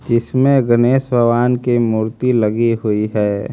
जिसमें गणेश भगवान की मूर्ती लगी हुई है।